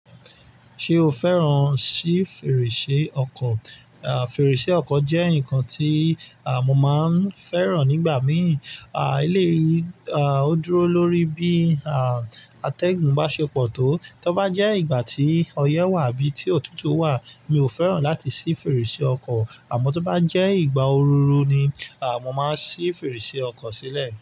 Ṣé o fẹ́ràn sí fèrèsé ọkọ? À, fèrèsé ọkọ jẹ́ nǹkan tí, à, mo máa ń fẹ́ràn nígbà míì. À, eleyi, à, ó dúró lórí bí, à, atẹ́gùn bá ṣe pọ̀ tó. Tọ bá jẹ́ ìgbà tí ọyẹ́ wà bí tí òtútù wà, mi ò fẹ́ràn láti ṣí fèrèsé ọkọ. Àmọ́ tó bá jẹ́ ìgbà òru ni, à, mo máa ṣí fèrèsé ọkọ sílẹ̀.